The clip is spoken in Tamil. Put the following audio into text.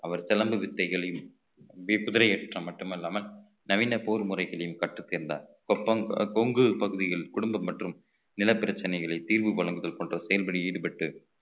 அவர் சிலம்பு வித்தைகளின் வேக்குதிரை ஏற்ற மட்டுமல்லாமல் நவீன போர் முறைகளையும் கற்றுத் தேர்ந்தார் கொபங்~ கொங்கு பகுதியில் குடும்பம் மற்றும் நிலப் பிரச்சனைகளை தீர்வு வழங்குதல் போன்ற செயல்களில் ஈடுபட்டு